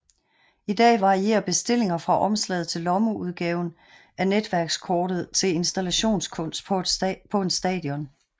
I dag varierer bestillinger fra omslaget til lommeudgaven af netværkskortet til installationskunst på en station